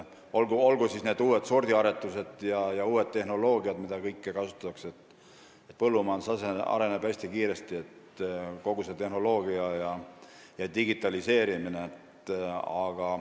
Põllumajandus areneb hästi kiiresti, olgu uued sordiaretused või kogu uus tehnoloogia, mida kasutatakse, ja digitaliseerimine.